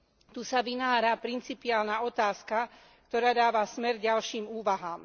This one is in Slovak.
Tu sa vynára principiálna otázka, ktorá dáva smer ďalším úvahám.